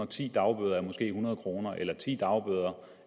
ti dagbøder a måske hundrede kroner eller ti dagbøder